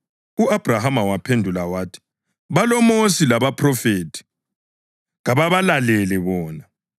U-Abhrahama waphendula wathi, ‘BaloMosi labaPhrofethi; kabalalele bona.’